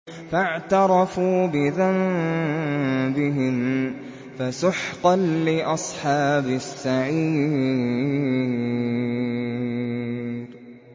فَاعْتَرَفُوا بِذَنبِهِمْ فَسُحْقًا لِّأَصْحَابِ السَّعِيرِ